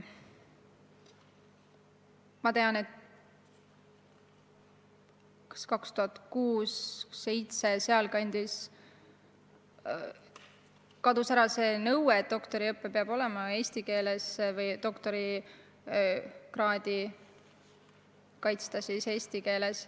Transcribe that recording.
Ma tean, et kas aastal 2006 või 2007 – kusagil sealkandis – kadus ära nõue, et doktoriõpe peab olema eesti keeles, et doktorikraadi peab saama kaitsta eesti keeles.